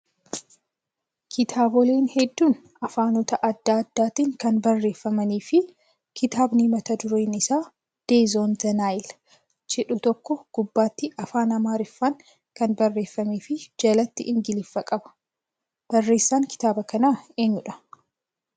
Kitaaboleen hedduun afaanota adda addaatiin kan barreeffamanii fi kitaabni mata dureen isaa "Death on the Nile" jedhu tokko gubbaatti afaan amaariffaan kan barreeffamee fi jalatti ingiliffa qaba. Barreessaan kitaaba kanaa eenyudhaa?